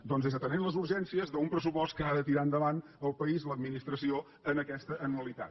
doncs és atenent les urgències d’un pressupost que ha de tirar endavant el país l’administració en aquesta anualitat